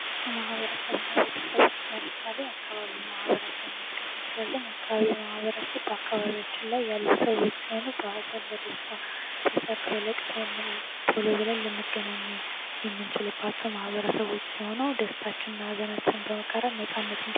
ከማህበረሰብና ቤተሰብ ውስጥ ለምሳሌ የአካባቢ ማበረሰብ መጥቀስ እንችላለን የአካባቢ ማህበረሰብ በአካባቢያችን ላይ ያሉ ሰዎች የሆኑ በሀዘን በደስታ በሠርናግ በልቅሶ ቶሎ ልንገናኛቸው የሚችላቸው ማበረሰቦች ሲሆኑ ደስታና ሃዘናችንን በመጋረድ ነጻነት እንድኖረኝ ያደርጋል።